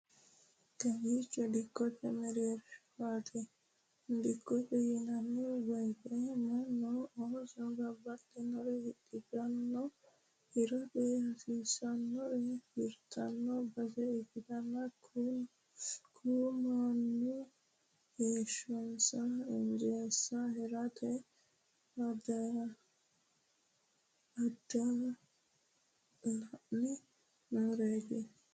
Kawiichi dikkote mereershaati. Dikkote yinanni woyte mannu ooso baxxinore hidhitanno, hirate hasidhinore hirtanno base ikkitanna ku mannu heeshshonsa injeesse heerate daddalanni nooreeti.